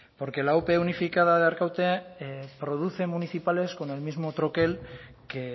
porque la ope unificada de arkaute produce municipales con el mismo troquel que